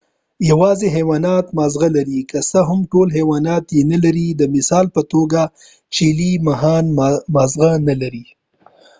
یواځی حیوانات ماغزه لري که څه هم ټول حیوانات یې نه لري : د مثال په توګه چېلی ماهیان ماغزه نه لري